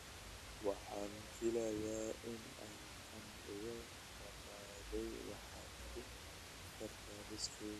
Waxaan filayaa in aan kan iga dhammaaday, waxaad ku dari kartaa liiskayga